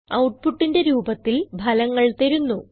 outputന്റെ രൂപത്തിൽ ഫലങ്ങൾ തരുന്നു